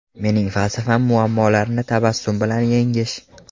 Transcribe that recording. Mening falsafam muammolarni tabassum bilan yengish.